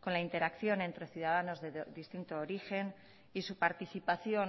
con la interacción entre ciudadanos de distinto origen y su participación